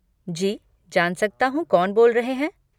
जी, जान सकता हूँ कौन बोल रहे हैं?